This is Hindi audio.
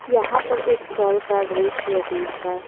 यहां पर एक कल का दृश्य देख रहा--